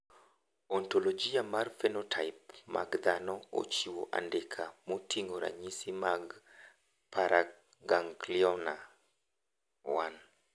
Ontologia mar phenotype mag dhano ochiwo andika moting`o ranyisi mag paraganglioma 1.